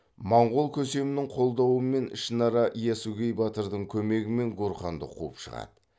маңғол көсемінің қолдауымен ішінара ясугей батырдың көмегімен гурханды қуып шығады